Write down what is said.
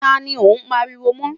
tá ní o n pariwo mọ?